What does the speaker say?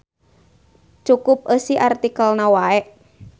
Cukup eusi artikelna wae.